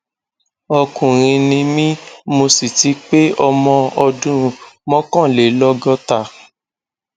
ọkùnrin ni mí mo sì ti pé ọmọ ọdún mọkànlélọgọta